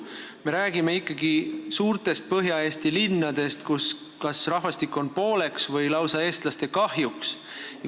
Meie räägime ikkagi suurtest Põhja-Eesti linnadest, kus rahvastik jaguneb pooleks või on lausa eestlaste kahjuks.